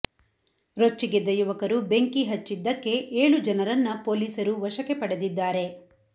ರೊಚ್ಚಿಗೆದ್ದ ಯುವಕರು ಬೆಂಕಿ ಹಚ್ಚಿದಕ್ಕೆ ಏಳು ಜನರನ್ನ ಪೋಲಿಸರು ವಶಕ್ಕೆ ಪಡೆದಿದ್ದಾರೆ